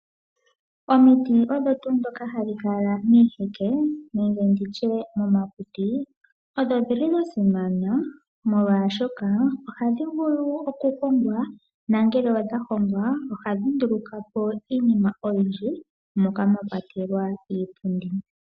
Omiti ohadhi kala miiheke nomomakuti. Odha simana molwaashoka ohadhi vulu oku hongwa . Ngele dha hongwa ohadhi ndulukapo iinima oyindji moka mwa kwatelwa iipundi.